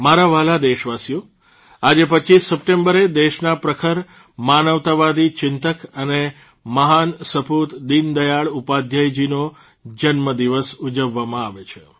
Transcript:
મારા વ્હાલા દેશવાસીઓ આજે ૨૫ સપ્ટેમ્બરે દેશના પ્રખર માનવતાવાદી ચિંતક અને મહાન સપૂત દીનદયાળ ઉપાધ્યાયજીનો જન્મ દિવસ ઉજવવામાં આવે છે